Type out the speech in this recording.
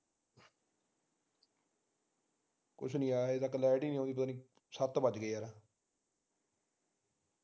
ਕੁਛ ਨਹੀਂ ਆਇਆ ਹਜੇ ਤਕ light ਹੀ ਨਹੀਂ ਆਉਂਦੀ ਨਹੀਂ ਸੱਤ ਵੱਜਗੇ ਯਾਰ